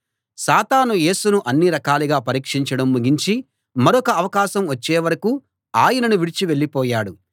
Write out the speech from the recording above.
సాతాను యేసును అన్ని రకాలుగా పరీక్షించడం ముగించి మరొక అవకాశం వచ్చేవరకూ ఆయనను విడిచి వెళ్ళిపోయాడు